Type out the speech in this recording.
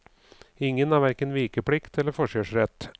Ingen har hverken vikeplikt eller forkjørsrett.